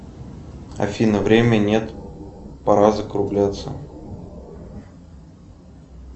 афина время нет пора закругляться